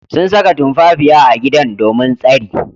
Sun sanya tumfafiya a gida domin tsari.